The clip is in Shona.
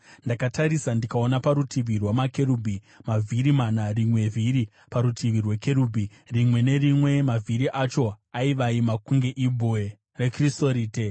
Ndakatarisa, ndikaona parutivi rwamakerubhi mavhiri mana, rimwe vhiri parutivi rwekerubhi rimwe nerimwe, mavhiri acho aivaima kunge ibwe rekrisorite.